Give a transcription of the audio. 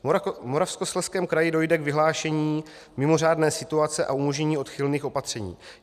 V Moravskoslezském kraji dojde k vyhlášení mimořádné situace a umožnění odchylných opatření.